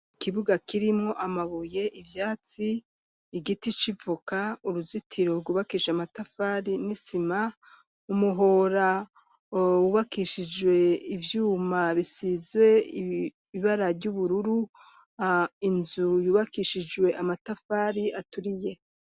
Ikibuga kirimo amabuye ivyatsi igiti c'ivoka uruzitiro rwubakisha amatafari n'isima umuhora wubakishijwe ivyuma bisizwe ibara ry'ubururu inzu yubakishijwe amatafari aturiye.